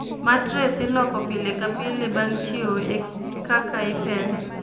Matress iloko pile ka pile bang' chiew e kaka ipedhe